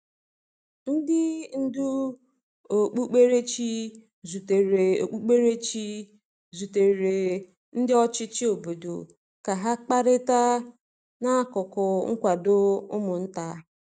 Ndị ndú okpukperechi zutere okpukperechi zutere ndị ọchịchị obodo ka ha kparịta n’akụkụ nkwado ụmụ nta.